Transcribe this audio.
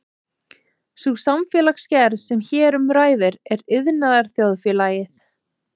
Sú samfélagsgerð sem hér um ræðir er iðnaðarþjóðfélagið.